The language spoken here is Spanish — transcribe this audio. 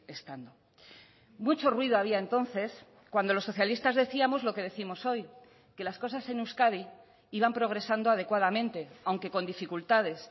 estando mucho ruido había entonces cuando los socialistas decíamos lo que décimos hoy que las cosas en euskadi iban progresando adecuadamente aunque con dificultades